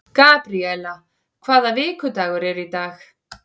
Gabríela, hvaða vikudagur er í dag?